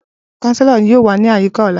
Chancellor yoo wa ni ayika ọla.